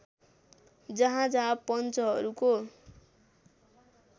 जहाँ जहाँ पञ्चहरूको